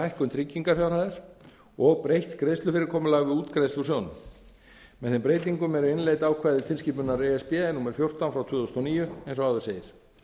hækkun tryggingarfjárhæðar og breytt greiðslufyrirkomulagi við útgreiðslu úr sjóðnum með þeim breytingum eru innleidd ákvæði tilskipunar e s b númer fjórtán tvö þúsund og níu eins og áður segir